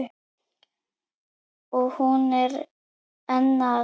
Og hún er enn að.